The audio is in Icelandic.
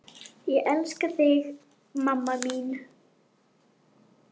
Ég elska þig mamma mín.